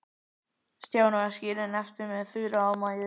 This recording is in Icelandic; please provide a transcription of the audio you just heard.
Stjáni var skilinn eftir með Þuru og Maju.